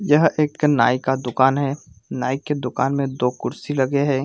यह एक नाइ का दुकान है नाइ के दुकान में दो कुर्सी लगे है।